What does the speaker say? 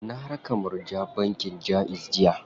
Na raka Murja bankin Jaiz jiya.